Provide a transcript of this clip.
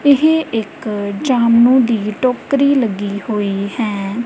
ਇਹ ਇੱਕ ਜਾਮਨੂੰ ਦੀ ਟੋਕਰੀ ਲੱਗੀ ਹੋਈ ਹੈ।